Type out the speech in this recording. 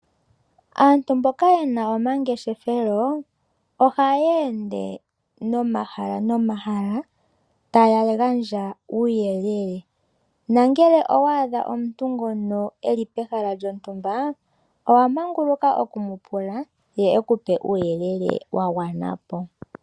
Aantu mboka yena omangeshethelo ohaye ende nomahala nomahala taya gandja uuyelele, nangele owa adha omuntu ngono eli pehala lyontumba, owa manguluka oku mu pula ye ekupe uuyelele wa gwana po.